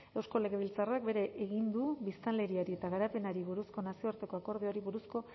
eusko legebiltzarrak bere egin du biztanleari eta garapenari buruzko nazioarteko akordioari buruzko